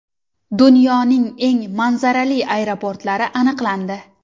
Dunyoning eng manzarali aeroportlari aniqlandi.